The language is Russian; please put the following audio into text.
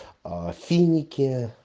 а финики